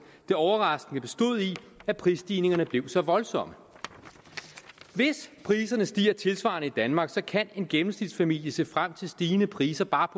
det overraskende bestod i at prisstigningerne blev så voldsomme hvis priserne stiger tilsvarende i danmark kan en gennemsnitsfamilie se frem til stigende priser bare